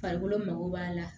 Farikolo mago b'a la